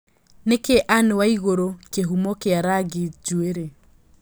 nĩ kĩĩ Ann waiguru kĩhumo kia rangĩ njũere